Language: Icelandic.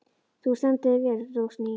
Þú stendur þig vel, Rósný!